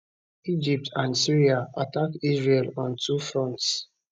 egypt and syria attack israel on two fronts